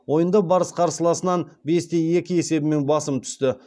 ойында барыс қарсыласынан бес те екі есебімен басым түсті